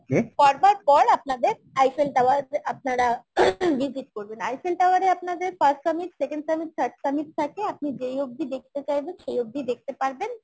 করবার পর আপনাদের Eiffel Tower আপনারা visit করবেন Eiffel Tower এ আপনাদের first summit second summit third summit থাকে আপনি যেই অবধি দেখতে চাইবেন সেই অবধি দেখতে পারবেন